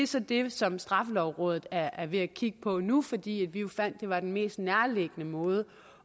så det som straffelovrådet er er ved at kigge på nu fordi vi jo fandt at det var den mest nærliggende måde